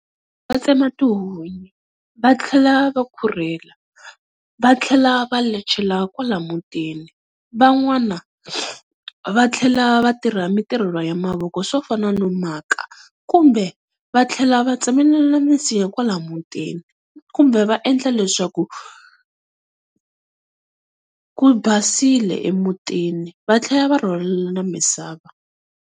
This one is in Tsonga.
Va tsema tihunyi va tlhela va khurhela va tlhela va lechela kwala mutini. Van'wana va tlhela va tirha mintirho ya mavoko swo fana no maka kumbe va tlhela va tsemelela minsinya kwala mutini. Kumbe va endla leswaku ku basile emutini va tlhela va rhwalela na misava.